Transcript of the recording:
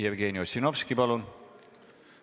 Jevgeni Ossinovski, palun!